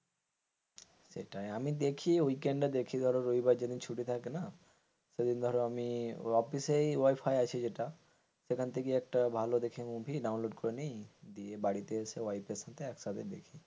সেটাই আমি দেখি weekend দেখি ধরো রবিবার যেদিন ছুটি থাকে না সেদিন ধরো আমি অফিসেই ওয়াইফাই আছে যেটা সেখান থেকে একটা ভালো দেখে movie download করে করে নি, দিয়ে বাড়িতে আসে ওয়াইফ এর সাথে একসাথে দেখি।